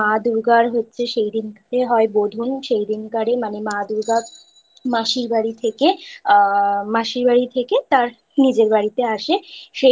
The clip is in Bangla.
মা দূর্গার হচ্ছে সেই দিনতো হয় বোধন সেই দিনকারে মানে মা দুর্গার মাসির বাড়ি থেকে আ মাসির বাড়ি থেকে তার নিজের বাড়িতে আসে।